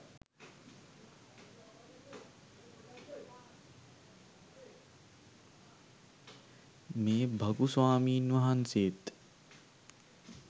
මේ භගු ස්වාමින් වහන්සේත්